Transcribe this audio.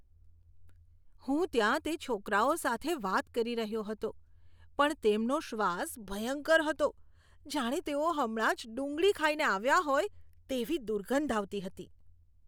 હું ત્યાં તે છોકરાઓ સાથે વાત કરી રહ્યો હતો પણ તેમનો શ્વાસ ભયંકર હતો. જાણે તેઓ હમણાં જ ડુંગળી ખાઈને આવ્યાં હોય, તેવી દુર્ગંધ આવતી હતી.